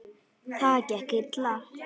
Það gekk illa.